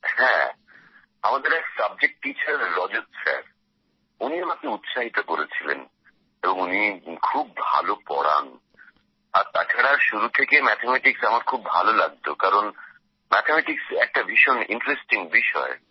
হ্যাঁ আমাদের এক সাবজেক্ট টিচার রজত স্যারউনি আমাকে উৎসাহিত করেছিলেন এবং উনি খুব ভালো পড়ান আর তাছাড়া শুরু থেকেই ম্যাথামেটিক্স আমার খুব ভালো লাগতো কারণ ম্যাথামেটিক্স একটা ভীষণ ইন্টারেস্টিং বিষয়